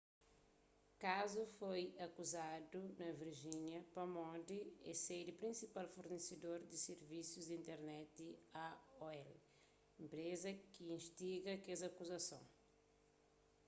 kazu foi akuzaduna virgínia pamodi é sedi di prinsipal fornesedor di sirvisus di internet aol enpreza ki instiga kes akuzason